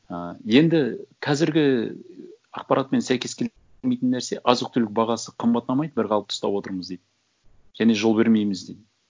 ы енді қазіргі ақпаратымен сәйкес нәрсе азық түлік бағасы қымбаттамайды бір қалыпты ұстап отырмыз дейді және жол бермейміз дейді